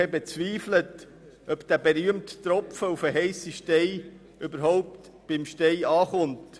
Die EVP bezweifelt, ob dieser berühmte Tropfen auf den heissen Stein überhaupt den Stein erreicht.